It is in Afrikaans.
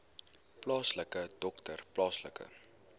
plaaslike dokter plaaslike